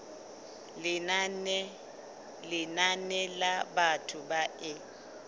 lenane la batho ba e